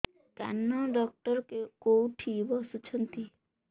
କାନ ଡକ୍ଟର କୋଉଠି ବସୁଛନ୍ତି